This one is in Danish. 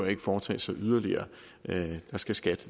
at foretage sig yderligere skat skal